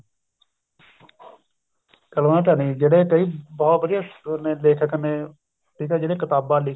ਕ਼ਲਮ ਦਾ ਧਨੀ ਜਿਹੜੇ ਕਈ ਬਹੁਤ ਵਧੀਆ ਲੇਖਕ ਨੇ ਠੀਕ ਏ ਜਿਹੜੇ ਕਿਤਾਬਾਂ